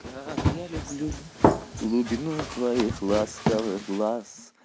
как я люблю глубину твоих ласковых глаз